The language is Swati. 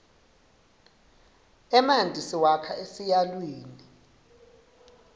emanti siwakha esiyatwini